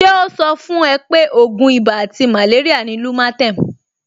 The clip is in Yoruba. Ṣé ó sọ fún ẹ pé ògùn ibà àti màléríà ni Lumatem